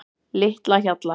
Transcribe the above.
Litlahjalla